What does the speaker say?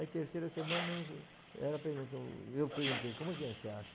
Aí, terceira semana, ela perguntou, eu perguntei, como é que é, você acha?